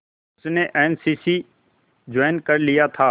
उसने N C C join कर लिया था